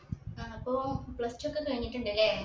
ആ ഇപ്പോ plus two ഒക്കെ കഴിഞ്ഞിട്ട്ണ്ട്ല്ലേ?